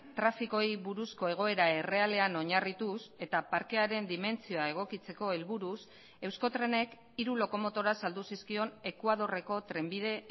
trafikoei buruzko egoera errealean oinarrituz eta parkearen dimentsioa egokitzeko helburuz euskotrenek hiru lokomotora saldu zizkion ekuadorreko trenbide